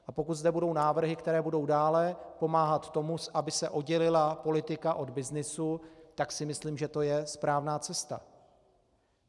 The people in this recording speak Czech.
A pokud zde budou návrhy, které budou dále pomáhat tomu, aby se oddělila politika od byznysu, tak si myslím, že to je správná cesta.